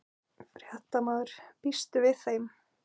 Fréttamaður: Býstu við þeim?